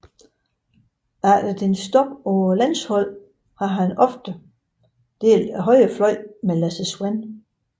Efter dennes stop på landsholdet har han oftest delt højrefløjen med Lasse Svan